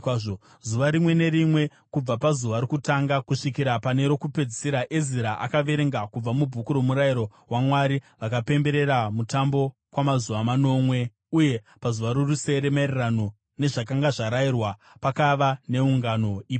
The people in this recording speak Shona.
Zuva rimwe nerimwe, kubva pazuva rokutanga kusvikira pane rokupedzisira, Ezira akaverenga kubva muBhuku roMurayiro waMwari. Vakapemberera mutambo kwamazuva manomwe, uye pazuva rorusere, maererano nezvakanga zvarayirwa, pakava neungano ipapo.